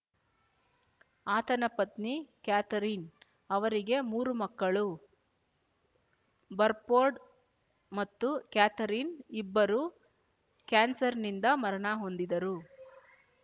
ಆತನ ಪತ್ನಿ ಕ್ಯಾಥರಿನ್ ಅವರಿಗೆ ಮೂರು ಮಕ್ಕಳು ಬರ್‍ಫೋರ್ಡ್ ಮತ್ತು ಕ್ಯಾಥರಿನ್ ಇಬ್ಬರೂ ಕ್ಯಾನ್ಸರ್‌ನಿಂದ ಮರಣ ಹೊಂದಿದರು